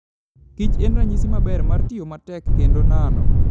Kich en ranyisi maber mar tiyo matek kendo nano.